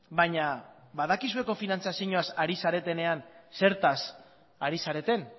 baina badakizue kofinantzazioaz ari zaretenean zertaz ari zareten